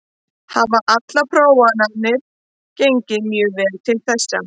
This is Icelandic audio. Hafa allar prófanir gengið mjög vel til þessa.